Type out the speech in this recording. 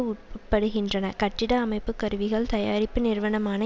உட்படுகின்றன கட்டிட அமைப்பு கருவிகள் தயாரிப்பு நிறுவனமான